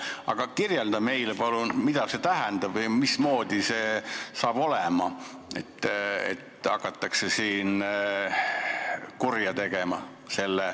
Aga kirjelda meile palun, mida see tähendab või mismoodi see hakkab olema, et hakatakse kurja tegema.